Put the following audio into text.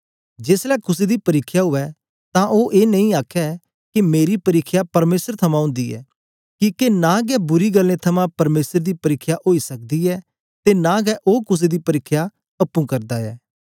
जेसलै कुसे दी परिख्या उवै तां ओ ए नेई आखे के मेरी परिख्या परमेसर थमां ओंदी ऐ किके नां गै बुरी गल्लें थमां परमेसर दी परिख्या ओई सकदी ऐ ते नां गै ओ कुसे दी परिख्या अप्पुं करदा ऐ